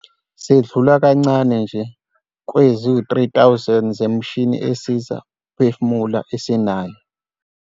"Sedlula kancane nje kwizi-3 000 zemishini esiza ukuphefumula esinayo."